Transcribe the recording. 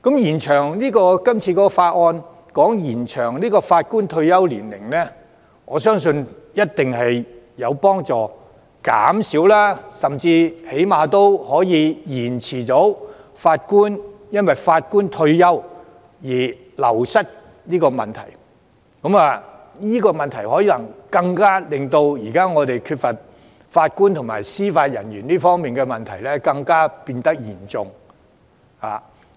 延長法官退休年齡，我相信一定有助減輕或最低限度延遲法官因退休而人手流失的問題。這個問題令我們現時法官及司法人員人手不足的問題變得更嚴重。